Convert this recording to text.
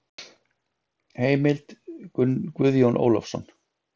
Heimild: Guðjón Ólafsson.